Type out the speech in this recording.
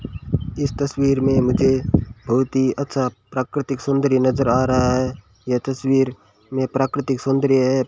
इस तस्वीर में मुझे बहुत ही अच्छा प्राकृतिक सुंदरी नजर आ रहा है यह तस्वीर में प्राकृतिक सौंदर्य है।